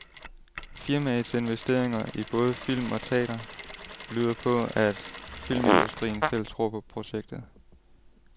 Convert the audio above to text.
Firmaets investeringer i både film og teatre tyder på, at filmindustrien selv tror på projektet.